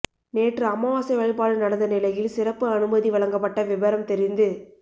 நேற்று அமாவாசை வழிபாடு நடந்த நிலையில் சிறப்பு அனுமதி வழங்கப்பட்ட விபரம் தெரிந்து